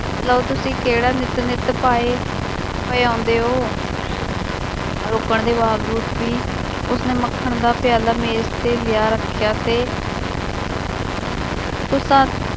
ਲਓ ਤੁਸੀਂ ਕਿਹੜਾ ਨਿੱਤ ਨਿੱਤ ਭਾਏ ਪਏ ਆਉਂਦੇ ਹੋ ਰੋਕਣ ਦੇ ਬਾਵਜੂਦ ਵੀ ਉਸਨੇ ਮੱਖਣ ਦਾ ਪਿਆਲਾ ਮੇਜ ਤੇ ਲਿਆ ਰੱਖਿਆ ਤੇ ਤੁਸਾਂ